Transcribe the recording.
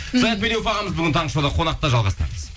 саят медеуов ағамыз бүгін таңғы шоуда қонақта жалғастырамыз